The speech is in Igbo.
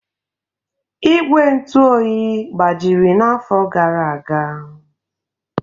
Ígwè ntụ oyi gbajiri n'afọ gara aga.